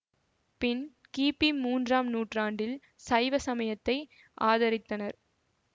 பின் கி பி மூன்றாம் நூற்றாண்டில் சைவ சமயத்தை ஆதரித்தனர்